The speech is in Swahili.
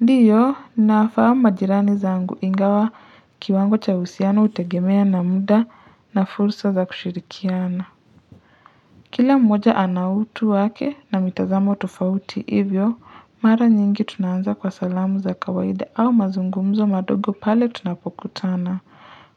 Ndiyo, ninawafahamu majirani zangu ingawa kiwango cha uhusiano, hutegemea na muda na fursa za kushirikiana. Kila mmoja ana utu wake na mitazamo tofauti hivyo, mara nyingi tunaanza kwa salamu za kawaida au mazungumzo madogo pale tunapokutana.